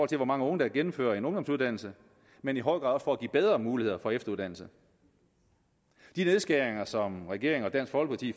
til hvor mange unge der gennemfører en ungdomsuddannelse men i høj grad også for at give bedre muligheder for efteruddannelse de nedskæringer som regeringen og dansk folkeparti